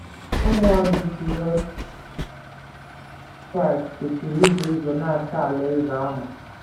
Ụmụazụ Jisọs Kraịst kwesịrị ‘ ibu ụzọ na - achọ alaeze ahụ. ’